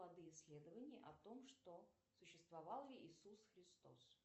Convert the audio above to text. исследования о том что существовал ли иисус христос